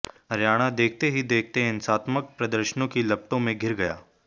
हरियाणा देखते ही देखते हिंसात्मक प्रदर्शनों की लपटों में घिर गया